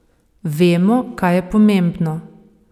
Vemo, kaj je pomembno.